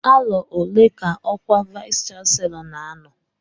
Arọ ole ka ọkwa vayis chansilọ n'anọ?